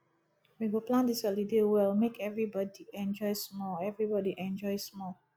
we go plan dis holiday well make everybodi enjoy small everybodi enjoy small